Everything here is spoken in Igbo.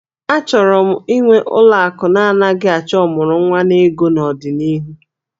Achọrọ m ịnwe ụlọ akụ na-anaghị achọ ọmụrụnwa n'ego n'ọdịnihu